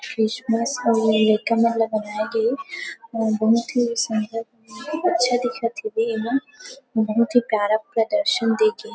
Christmas अउ बनाए गे हे बहुत ही सुन्दर अच्छा दिखथे ए मन बहुत ही प्यारा प्रदर्शन देखे --